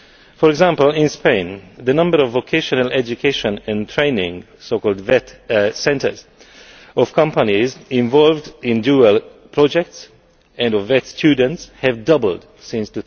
For example, in Spain, the number of vocational education in training centres of companies involved in dual projects and of VET students has doubled since